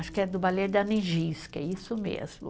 Acho que é do balé da Nijinska, é isso mesmo.